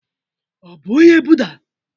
Ọ bụ onye Buddha?